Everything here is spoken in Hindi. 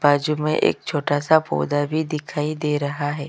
बाजु में एक छोटा-सा पौधा भी दिखाई दे रहा है।